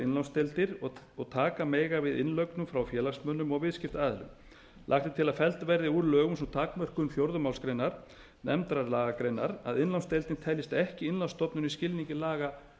innlánsdeildir sem taka mega við innlögnum frá félagsmönnum og viðskiptaaðilum lagt er til að felld verði úr lögum sú takmörkun fjórðu málsgrein nefndrar lagagreinar að innlánsdeildin teljist ekki innlánsstofnun í skilningi laga